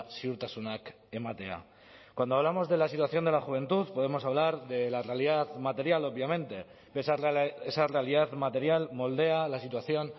ziurtasunak ematea cuando hablamos de la situación de la juventud podemos hablar de la realidad material obviamente esa realidad material moldea la situación